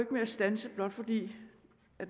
med at standse blot fordi